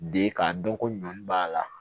Den k'a dɔn ko ɲɔn b'a la